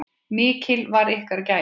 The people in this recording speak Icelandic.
Mikil var ykkar gæfa.